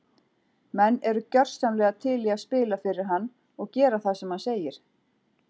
Menn eru gjörsamlega til í að spila fyrir hann og gera það sem hann segir.